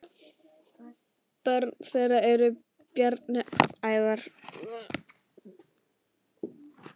Börn þeirra eru Bjarni Ævar.